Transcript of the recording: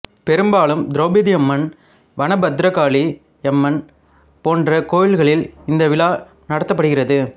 பெரும்பாலும் திரௌபதியம்மன் வனபத்திரகாளியம்மன் போன்ற கோயில்களில் இந்த விழா நடத்தப்படுகிறது